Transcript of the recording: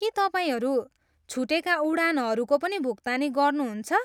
के तपाईँहरू छुटेका उडानहरूको पनि भुक्तानी गर्नुहुन्छ?